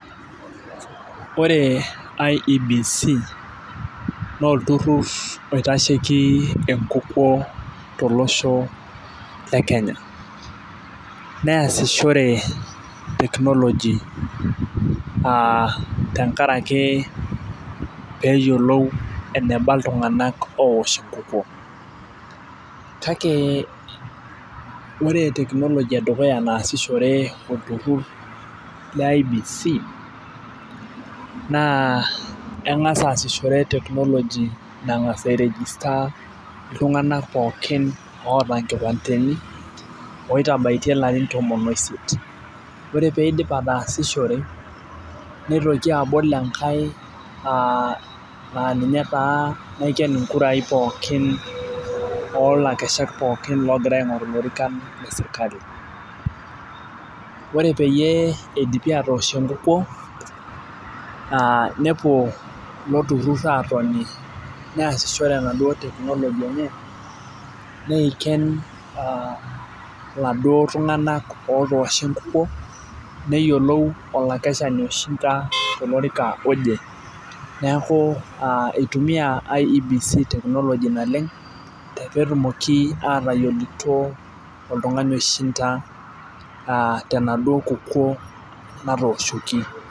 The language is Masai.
Ore IEBC naa olturur oitasheki enkukuo tolosho le kenya. neesishore technology aa tenkaraki peeyiolou eneba iltunganak oosh enkukuo. kake ore technology edukuya naasishore olturur le IEBC naa engas aasishore technology nangas ai register iltunganak pookin oota nkipandeni. oitabaotie ilarin tomon oisiet. ore pee idipi ataasishore, nitoki abol enkae, naa ninye taa naiken inkurai pookin oolakeshak pookin oogira aingoru ilorikan le sirkali. ore peyie eidipi atoosh enkukuo, aa nepuo ilo tururur aatoni neesishore enaduoo technology enye, neiken oladuoo tunganak otoosho enkukuo. neyiolou olakeshani oishinda, tolorika oje. neeku itumia IEBC technology naleng peetumoki aatayiolito oltungani oishinda tenaduoo kukuo natooshoki.